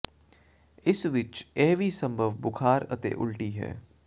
ਇਸ ਵਿਚ ਇਹ ਵੀ ਸੰਭਵ ਬੁਖ਼ਾਰ ਅਤੇ ਉਲਟੀ ਹੈ